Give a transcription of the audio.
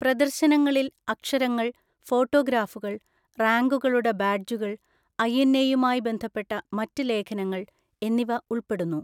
പ്രദർശനങ്ങളിൽ അക്ഷരങ്ങൾ, ഫോട്ടോഗ്രാഫുകൾ, റാങ്കുകളുടെ ബാഡ്ജുകൾ, ഐഎൻഎയുമായി ബന്ധപ്പെട്ട മറ്റ് ലേഖനങ്ങൾ എന്നിവ ഉൾപ്പെടുന്നു.